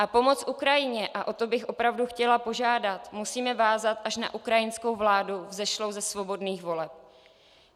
A pomoc Ukrajině, a o to bych opravdu chtěla požádat, musíme vázat až na ukrajinskou vládu vzešlou ze svobodných voleb.